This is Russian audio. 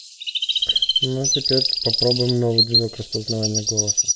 ну теперь попробуем новый движок распознавание голоса